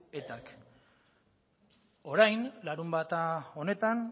etak orain larunbata honetan